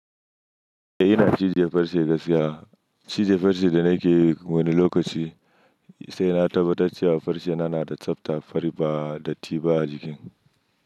Eh ina cije farce gaskiya, cije farce da nake yi wani lokaci sai na tabbatar cewa farce na yana da tsafta, fari ba datti ba a jikin.